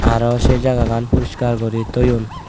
arow sei jagagan puriskar guri toyon.